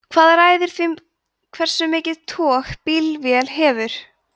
hvað ræður því hversu mikið tog bílvél hefur